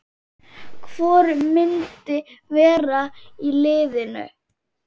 Hvor myndi vera í liðinu?